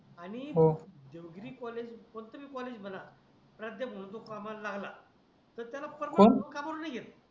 Devagiri college कोणत बी college म्हणा प्रादय म्हणून टु कामाला तर त्याला पर्मनंट कोण भाऊ कामाला नाही घेत